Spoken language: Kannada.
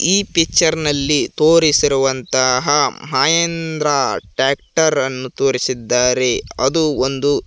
ಈ ಪಿಚ್ಚರ್ ನಲ್ಲಿ ತೋರಿಸಿರುವಂತಹ ಮಂಹಿದ್ರ ಟ್ರ್ಯಾಕ್ಟರ್ ಅನ್ನು ತೋರಿಸಿದ್ದಾರೆ ಅದು ಒಂದು--